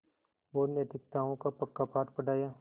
और नैतिकताओं का पक्का पाठ पढ़ाया